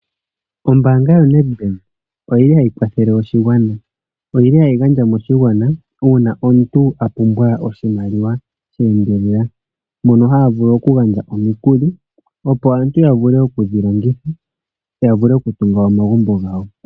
Ombanga yoNedbank oyili hayi kwathelele oshigwana. Oyili hayi gandja moshigwana una omuntu a pumbwa oshimaliwa sheendelela mono haya vulu oku gandja omikuli opo aantu ya vule okudhi longitha ya tunge omagumbo gawo.